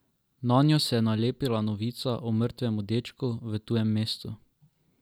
Nanjo se je nalepila novica o mrtvem dečku v tujem mestu.